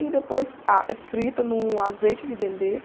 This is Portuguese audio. E depois ah, eh, frita no azeite de dendê.